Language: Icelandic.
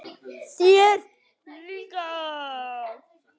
Þér líka?